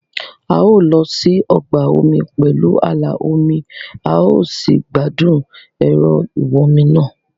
a ó lọ sí ọgbà omi pẹ̀lú ààlà omi a ó sì gbádùn ẹ̀rọ ìwọ́nmi náà